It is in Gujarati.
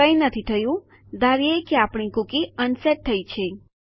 કંઈ નથી થયું ધારીએ કે આપણી કુકી અનસેટ થયી છે